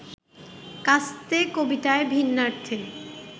‘কাস্তে’ কবিতায় ভিন্নার্থে